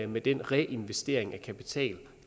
med den reinvestering af kapital